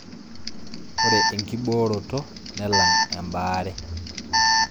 Ore enkibooroto nelang' embaare